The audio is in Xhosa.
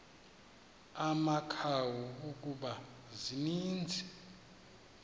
amakhawu kuba zininzi